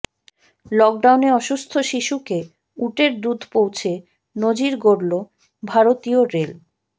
লকডাউনে অসুস্থ শিশুকে উটের দুধ পৌঁছে নজির গড়ল ভারতীয় রেল